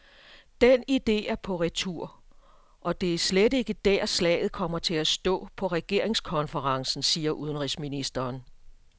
Den idé er på retur og det er slet ikke der, slaget kommer til at stå på regeringskonferencen, siger udenrigsministeren.